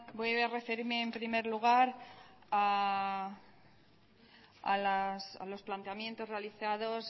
voy a referirme en primer lugar a los planteamientos realizados